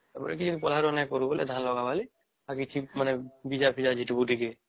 ତା ପରେ କି ପୋଲହାର ନେ କରିବ ବୋଲି ଝଲଗା ଵାଲୀ ବାକି ସେ ବିଜା ଫିଜା ଝିଟିବୁ ଟିକେ